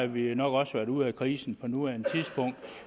vi nok også været ude af krisen på nuværende tidspunkt